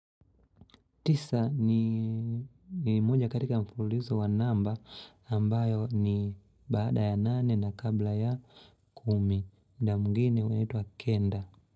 Tisa ni moja katika mfulizo wa namba ambayo ni baada ya nane na kabla ya kumi. Na mwingine wetu akenda.